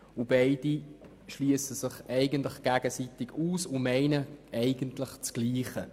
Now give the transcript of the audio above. Die beiden schliessen sich gegenseitig aus, doch sie meinen eigentlich dasselbe.